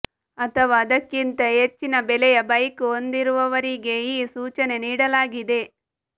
ಅಥವಾ ಅದಕ್ಕಿಂತ ಹೆಚ್ಚಿನ ಬೆಲೆಯ ಬೈಕ್ ಹೊಂದಿರುವವರಿಗೆ ಈ ಸೂಚನೆ ನೀಡಲಾಗಿದೆ